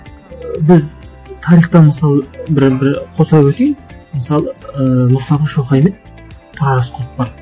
ыыы біз тарихта мысалы бір қоса өтейін мысалы ыыы мұстафа шоқай мен тұрар рысқұлов бар